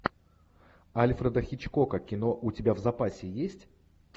альфреда хичкока кино у тебя в запасе есть